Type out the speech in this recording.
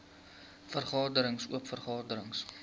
vergaderings oop vergaderings